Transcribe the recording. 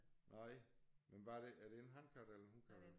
Nej men hvad er det er det en hankat eller en hunkat